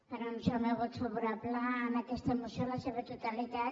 per anunciar el meu vot favorable a aquesta moció en la seva totalitat